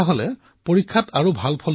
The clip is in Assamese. কিতাপখনৰ বহু কথা মোৰ ভাল লাগিল